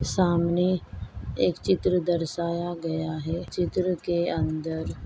सामने एक चित्र दर्श्याया गया है चित्र के अंदर--